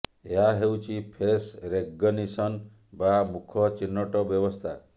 ଏହା ହେଉଛି face recognition ବା ମୁଖ ଚିହ୍ନଟ ବ୍ୟବସ୍ଥା